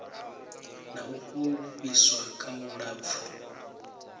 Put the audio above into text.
na u fhufhiswa kha vhulapfu